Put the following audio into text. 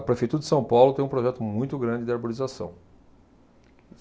A Prefeitura de São Paulo tem um projeto muito grande de arborização.